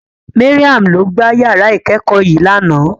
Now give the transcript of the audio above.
Mariam ló gbá yàrá ìkẹ́kọ̀ọ́ yìí lánàá.